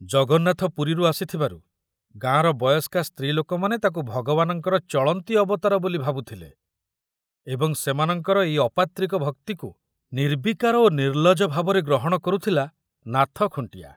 ଜଗନ୍ନାଥ ପୁରୀରୁ ଆସିଥିବାରୁ ଗାଁର ବୟସ୍କା ସ୍ତ୍ରୀ ଲୋକମାନେ ତାକୁ ଭଗବାନଙ୍କର ଚଳନ୍ତି ଅବତାର ବୋଲି ଭାବୁଥିଲେ ଏବଂ ସେମାନଙ୍କର ଏଇ ଅପାତ୍ରିକ ଭକ୍ତିକୁ ନିର୍ବିକାର ଓ ନିର୍ଲଜ ଭାବରେ ଗ୍ରହଣ କରୁଥିଲା ନାଥ ଖୁଣ୍ଟିଆ।